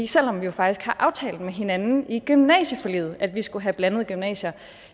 selv om vi faktisk har aftalt med hinanden i gymnasieforliget at vi skal have blandede gymnasier